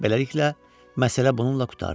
Beləliklə, məsələ bununla qurtardı.